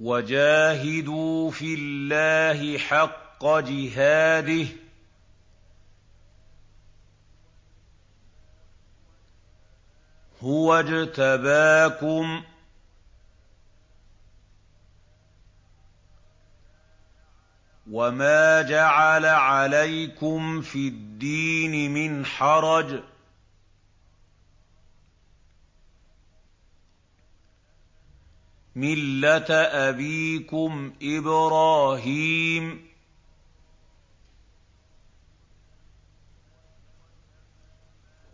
وَجَاهِدُوا فِي اللَّهِ حَقَّ جِهَادِهِ ۚ هُوَ اجْتَبَاكُمْ وَمَا جَعَلَ عَلَيْكُمْ فِي الدِّينِ مِنْ حَرَجٍ ۚ مِّلَّةَ أَبِيكُمْ إِبْرَاهِيمَ ۚ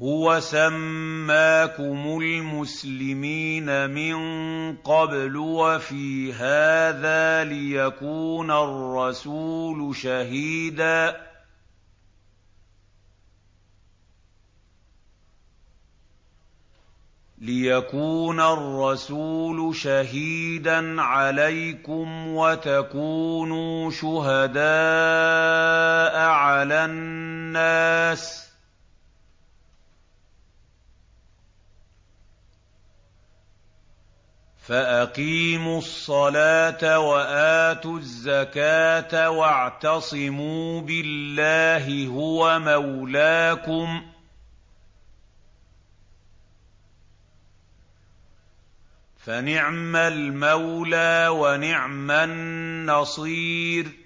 هُوَ سَمَّاكُمُ الْمُسْلِمِينَ مِن قَبْلُ وَفِي هَٰذَا لِيَكُونَ الرَّسُولُ شَهِيدًا عَلَيْكُمْ وَتَكُونُوا شُهَدَاءَ عَلَى النَّاسِ ۚ فَأَقِيمُوا الصَّلَاةَ وَآتُوا الزَّكَاةَ وَاعْتَصِمُوا بِاللَّهِ هُوَ مَوْلَاكُمْ ۖ فَنِعْمَ الْمَوْلَىٰ وَنِعْمَ النَّصِيرُ